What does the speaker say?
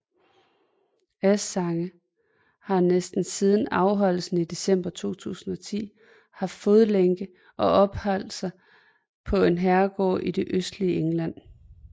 Assange har næsten siden anholdelsen i december 2010 haft fodlænke og opholdt sig på en herregård i det østlige England